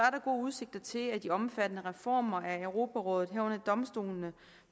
gode udsigter til at de omfattende reformer af europarådet herunder domstolene